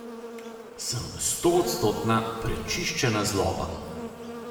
Sem stoodstotna, prečiščena zloba.